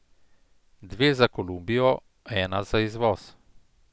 Dve za Kolumbijo, ena za izvoz.